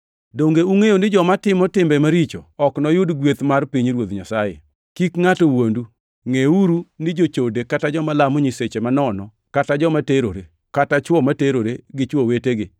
Donge ungʼeyo ni joma timo timbe maricho ok noyud gweth mar pinyruoth Nyasaye? Kik ngʼato wuondu! Ngʼeuru ni jochode kata joma lamo nyiseche manono, kata joma terore, kata chwo ma terore gi chwo wetegi,